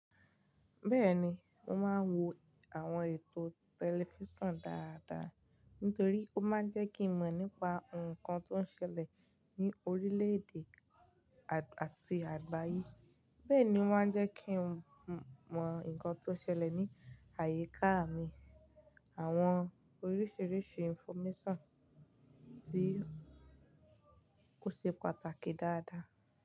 Bẹ́ẹ̀ni, mo máa ń wo àwọn ètò tẹlifísàn dáadáa nítorí ó máa ń jẹ́ kí n mọ̀ nípa nǹkan tó ń ṣẹlẹ̀ ní orílẹ̀-èdè àti àgbáyé. Bẹ́ẹ̀ ni ó máa ń jẹ́ kí n mọ̀ nǹkan tó ń ṣẹlẹ̀ ní àyíká mi àwọn oríṣiríṣi infomésàn tí ó ṣe pàtàkì dáadáa.